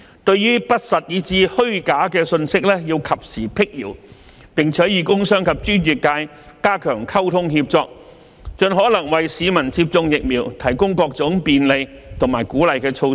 對於不實以至虛假的信息要及時闢謠，並與工商及專業界加強溝通協作，盡可能為市民接種疫苗提供各種便利和鼓勵的措施。